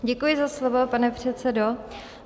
Děkuji za slovo, pane předsedo.